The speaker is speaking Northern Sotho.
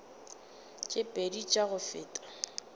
tše pedi tša go feta